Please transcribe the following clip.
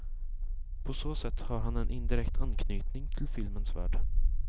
På så sätt har han en indirekt anknytning till filmens värld.